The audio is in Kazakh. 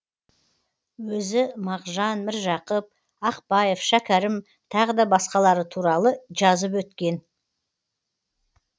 өзі мағжан міржақып ақпаев шәкәрім тағы да басқалары туралы жазып өткен